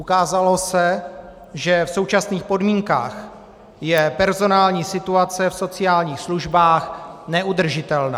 Ukázalo se, že v současných podmínkách je personální situace v sociálních službách neudržitelná.